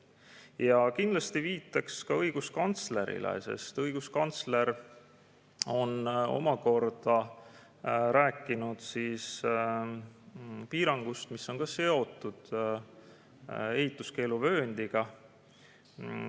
Ja kindlasti viitaks ka õiguskantslerile, sest õiguskantsler on omakorda rääkinud piirangust, mis on ka seotud ehituskeeluvööndiga.